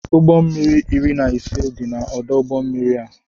Ụgbọ mmiri iri na ise dị n' ọdụ ụgbọ mmiri a.